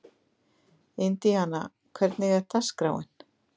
Indíana, hvernig er dagskráin?